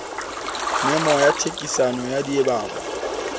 memo ya thekiso ya diabo